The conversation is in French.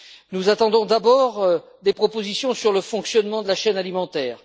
Nous attendons d'abord des propositions sur le fonctionnement de la chaîne alimentaire.